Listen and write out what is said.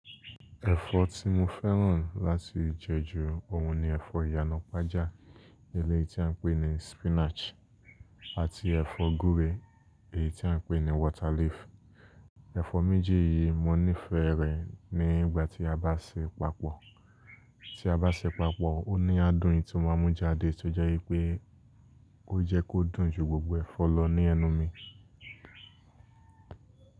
Ẹ̀fọ́ tí mo fẹ́ràn láti jẹ ju ọ̀hun ni ẹ̀fọ́ ìyanàpájà eléyìí tí à ń pè ní spinach àti ẹ̀fọ́ gúre èyí tí à ń pè ní water leaf. Ẹ̀fọ́ méjì yìí mo nífẹ̀ẹ́ rẹ̀ nígbà tí a bá ṣe papọ̀, tí a bá ṣe papọ̀ ó ní adùn eyi tí o máa mú jáde tó jẹ́ wipé ó jẹ́ kó dùn ju gbogbo ẹ̀fọ́ lọ ní ẹnu mi.